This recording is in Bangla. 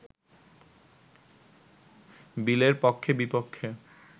বিলের পক্ষে-বিপক্ষে